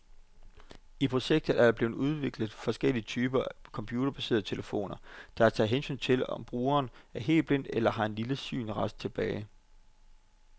I projektet er der blevet udviklet forskellige typer computerbaserede telefoner, der tager hensyn til, om brugeren er helt blind eller har en lille synsrest tilbage.